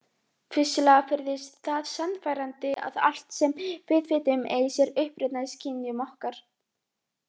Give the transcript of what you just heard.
Vissulega virðist það sannfærandi að allt sem við vitum eigi sér uppruna í skynjun okkar.